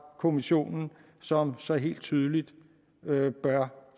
kommissionen som så helt tydeligt bør